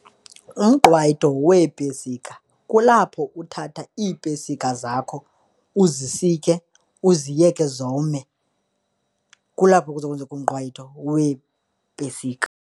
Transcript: Umqwayito weepesika kulapho uthatha iipesika zakho uzisike, uziyeke zome, kulapho kuza kwenzeka umqwayito weepesika